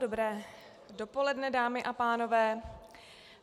Dobré dopoledne, dámy a pánové.